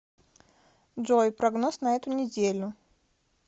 джой прогноз на эту неделю